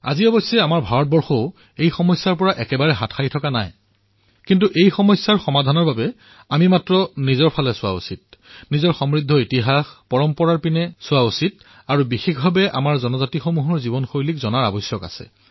অৱশ্যে আমাৰ ভাৰতবৰ্ষও এই সমস্যাৰ সন্মুখীন নোহোৱাটো নহয় কিন্তু ইয়াৰ সমাধানৰ বাবে আমি কেৱল নিজৰ ভিতৰলৈ ভুমুকিয়াই চাব লাগিব নিজৰ সমৃদ্ধ ইতিহাস পৰম্পৰা প্ৰত্যক্ষ কৰিব লাগিব বিশেষকৈ আমাৰ জনজাতি সম্প্ৰদায়ৰ জীৱনশৈলী লক্ষ্য কৰিব লাগিব